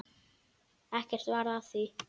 Ekkert varð af því.